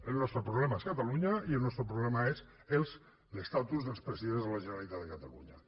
el nostre problema és catalunya i el nostre problema és l’estatus dels presidents de la generalitat de catalunya